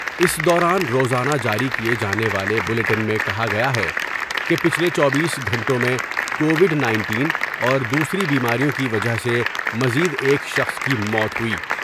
اس دوران روزانہ جاری کئے جانے والے بلیٹن میں کہا گیا ہے کہ پچھلے چوبیس گھنٹوں میں کو ڈ نائنٹین اور دوسری بیماریوں کی وجہ سے مز یدا ایک شخص کی موت ہوئی ۔